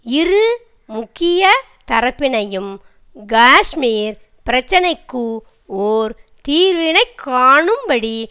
இரு முக்கிய தரப்பினையும் காஷ்மீர் பிரச்சினைக்கு ஒர் தீர்வினைக் காணும்படி